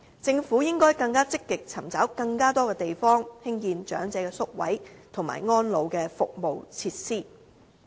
政府應該更積極尋找更多地方，興建長者宿位和安老服務設施。